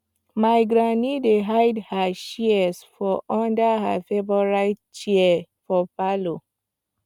my granny dey hide her shears for under her favorite chair for parlor